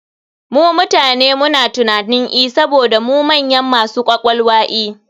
Mu mutane muna tunanin e saboda mu manyan masu ƙwaƙwalwa e.